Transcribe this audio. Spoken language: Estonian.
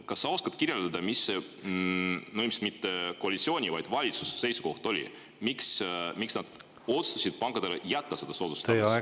Kas sa oskad kirjeldada, mis see seisukoht oli – no ilmselt mitte koalitsiooni, vaid valitsuse seisukoht –, miks otsustati pankadele see soodustus jätta?